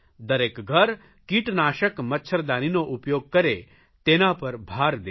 દરેક ઘર કીટનાશક મચ્છરદાનીનો ઉપયોગ કરે તેના પર ભાર દેવો